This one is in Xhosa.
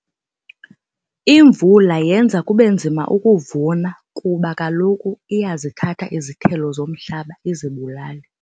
Imvula yenza kube nzima ukuvuna kuba kaloku iyazithatha izithelo zomhlaba izibulale.